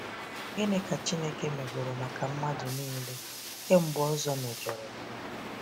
Gịnị ka Chineke megoro maka mmadụ nile kemgbe Ozor mejọrọ